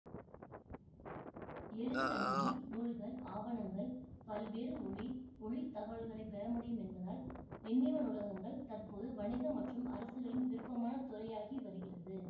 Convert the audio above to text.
எளிதில் அணுகி நூல்கள் ஆவணங்கள் பல்வேறு ஒலி ஒளித் தகவல்களை பெறமுடியும் என்பதால் எண்ணிம நூலகங்கள் தற்போது வணிக மற்றும் அரசுகளின் விருப்பமான துறையாகி வருகிறது